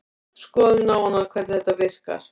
Skoðum nánar hvernig þetta virkar.